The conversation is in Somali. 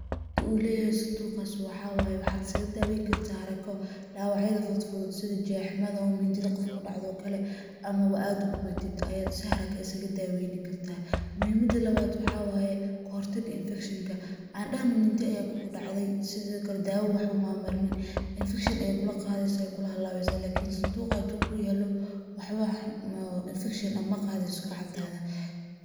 Muhimmada uu leyahay sanduqaas waxa waye waxa iskaga daaweyn kartaa harako dhawac yada fudfud ,sida jeexmada oo mindida qofka ku dhacda oo kale ama ba aad gubatid ayaad si haraka ah isaga daweyni kartaa. Muhimada labaad waxa waye ka hortagga infection ka ,aan dhahno mindi ayaa kugu dhacday sidokale daawo waxba maad marinin, infection ayey kula qadeysaa weey kugu halaweysaa. Sanduuqan haduu kuu yaalo wax infection ah ma qadeyso gacantaada.